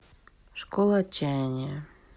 школа отчаяния